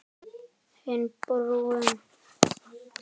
Hinn brúnn.